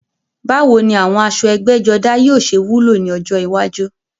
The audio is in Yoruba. Báwo ni àwọn aṣọ ẹgbẹ́jọdá yóò ṣe wúlò ní ọjọ́ iwájú?